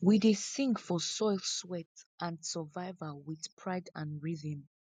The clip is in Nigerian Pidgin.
we dey sing for soil sweat and survival wit pride and rhythm